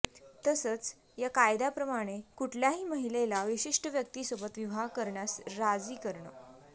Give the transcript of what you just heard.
तसंच या कायद्याप्रमाणे कुठल्याही महिलेला विशिष्ट व्यक्तीसोबत विवाह करण्यास राजी करणं